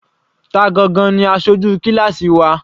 Ta gangan ni aṣojú kíláásì wa?